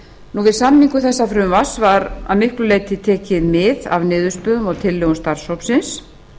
við samningu þessa frumvarps var að miklu leyti tekið mið af niðurstöðum og tillögum starfshópsins